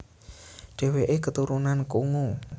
Dhèwèké keturunan Kongo